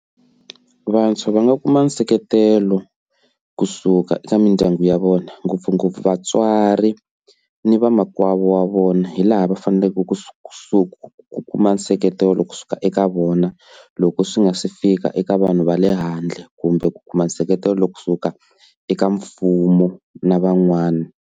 Vantshwa va nga kuma nseketelo kusuka eka mindyangu ya vona ngopfungopfu vatswari ni vamakwavo wa vona hi laha va faneleke ku ku ku kuma nseketelo kusuka eka vona loko swi nga se fika eka vanhu va le handle kumbe ku kuma nseketelo kusuka eka mfumo na van'wana.